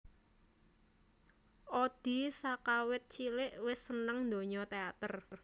Odi sakawit cilik wis seneng donya teater